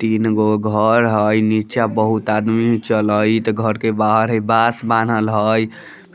तीन गो घर है नीचे बहुत आदमी चलाइत घर के बाहर बास बानल हैं